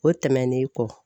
O tɛmɛnen kɔ.